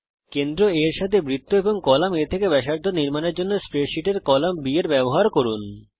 কেন্দ্র A এর সাথে বৃত্ত এবং কলাম A থেকে ব্যাসার্ধ নির্মাণ করার জন্যে স্প্রেডসীটের কলাম B এর ব্যবহার করুন